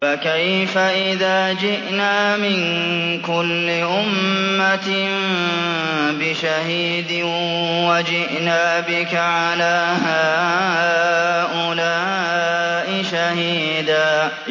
فَكَيْفَ إِذَا جِئْنَا مِن كُلِّ أُمَّةٍ بِشَهِيدٍ وَجِئْنَا بِكَ عَلَىٰ هَٰؤُلَاءِ شَهِيدًا